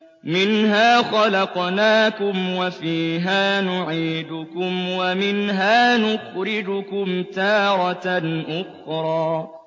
۞ مِنْهَا خَلَقْنَاكُمْ وَفِيهَا نُعِيدُكُمْ وَمِنْهَا نُخْرِجُكُمْ تَارَةً أُخْرَىٰ